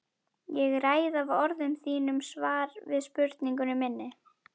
Ég ræð af orðum þínum svar við spurningu minni.